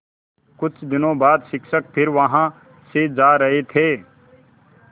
कुछ दिनों बाद शिक्षक फिर वहाँ से जा रहे थे